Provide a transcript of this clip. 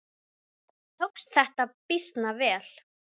Ég var ekki svona áður.